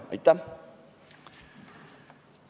Aitäh!